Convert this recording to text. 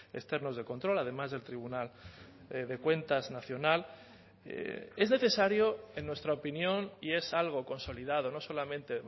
externos de control además del tribunal de cuentas nacional es necesario en nuestra opinión y es algo consolidado no solamente